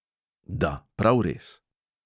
Da, prav res.